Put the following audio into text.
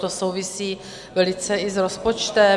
To souvisí velice i s rozpočtem.